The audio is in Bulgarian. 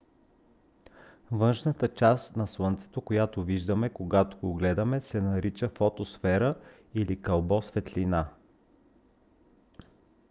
външната част на слънцето която виждаме когато го гледаме се нарича фотосфера или кълбо светлина